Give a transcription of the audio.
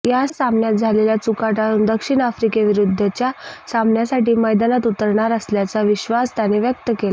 या सामन्यात झालेल्या चुका टाळून दक्षिण आफ्रिकेविरुद्धच्या सामन्यासाठी मैदानात उतरणार असल्याचा विश्वास त्याने व्यक्त केला